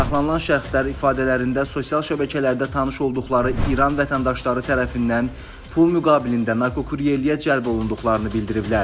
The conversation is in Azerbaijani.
Saxlanılan şəxslər ifadələrində sosial şəbəkələrdə tanış olduqları İran vətəndaşları tərəfindən pul müqabilində narkokuryerliyə cəlb olunduqlarını bildiriblər.